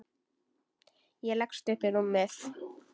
Ég leggst upp í rúmið.